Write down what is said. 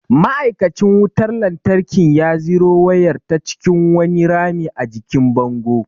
Ma’aikacin wutar lantarkin ya ziro wayar ta cikin wani rami a jikin bango.